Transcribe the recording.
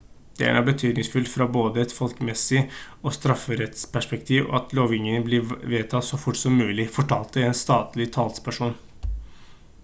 «det er nå betydningsfullt fra både et folkehelsemessig og strafferettsperspektiv at lovgivningen blir vedtatt så fort som mulig» fortalte en statlig talsperson